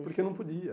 Porque não podia.